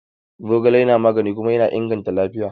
Zogale na magani kuma yana inganta lafiya.